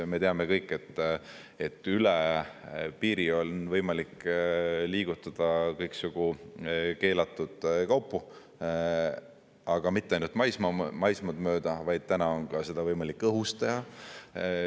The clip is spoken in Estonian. Me teame kõik, et üle piiri on võimalik liigutada kõiksugu keelatud kaupu, aga mitte ainult maismaad mööda, vaid täna on seda võimalik ka õhu kaudu teha.